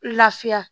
Lafiya